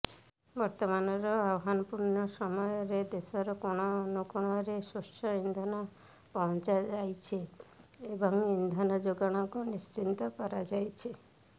ବର୍ତ୍ତମାନର ଆହ୍ୱାନପୂର୍ଣ୍ଣ ସମୟରେ ଦେଶର କୋଣ ଅନୁକୋଣରେ ସ୍ୱଚ୍ଛ ଇନ୍ଧନ ପହଞ୍ଚାଯାଇଛି ଏବଂ ଇନ୍ଧନ ଯୋଗାଣକୁ ନିଶ୍ଚିତ କରାଯାଇଛି